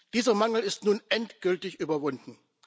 Dieser Mangel ist nun endgültig überwunden.